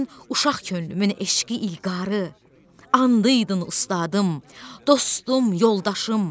Sən uşaq könlümün eşqi, ilqarı, andıydın ustadım, dostum, yoldaşım.